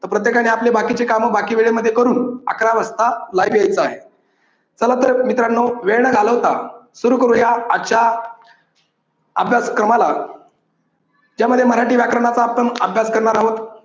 प्रत्येकाने आपली बाकीची कामं बाकी वेळेमध्ये करून अकरा वाजता live यायचं आहे. चला तर मित्रांनो वेळ न घालवता सुरू करूया आजच्या अभ्यासक्रमाला यामध्ये मराठी व्याकरणाचा आपण अभ्यास करणार आहोत.